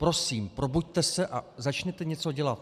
Prosím, probuďte se a začněte něco dělat.